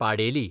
पाडेली